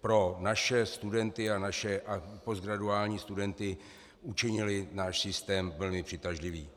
pro naše studenty a naše postgraduální studenty učinili náš systém plně přitažlivý.